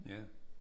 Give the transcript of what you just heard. Ja